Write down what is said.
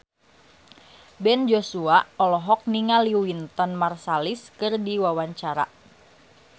Ben Joshua olohok ningali Wynton Marsalis keur diwawancara